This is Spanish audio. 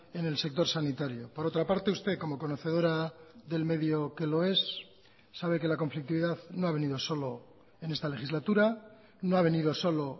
en el sector sanitario por otra parte usted como conocedora del medio que lo es sabe que la conflictividad no ha venido solo en esta legislatura no ha venido solo